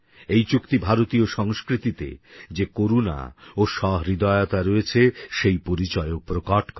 এই চুক্তি ভারতীয় সংস্কৃতিতে যে করুণা ও সহৃদয়তা রয়েছে সেই পরিচয়ও প্রকট করে